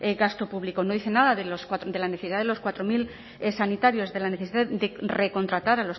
gasto público no dice nada de la necesidad de los cuatro mil sanitarios de la necesidad de recontratar